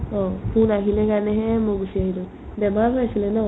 অ, phone আহিলে সেইকাৰণে হে মই গুচি আহিলো বেমাৰ হৈ আছিলে ন